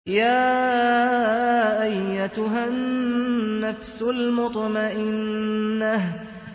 يَا أَيَّتُهَا النَّفْسُ الْمُطْمَئِنَّةُ